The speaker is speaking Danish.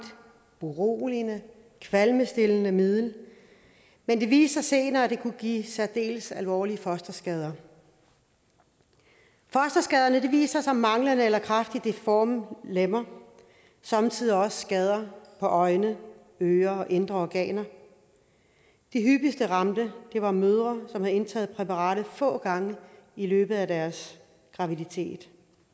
beroligende kvalmestillende middel men det viste sig senere at det kunne give særdeles alvorlige fosterskader fosterskaderne viste sig som manglende eller kraftigt deforme lemmer og somme tider også skader på øjne ører og indre organer de hyppigst ramte var mødre som havde indtaget præparatet få gange i løbet af deres graviditet